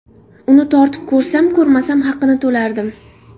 Uni tortib ko‘rsam-ko‘rmasam haqini to‘lardim.